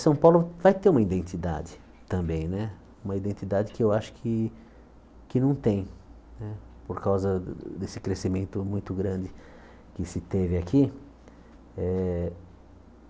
São Paulo vai ter uma identidade também né, uma identidade que eu acho que que não tem né, por causa desse crescimento muito grande que se teve aqui. Eh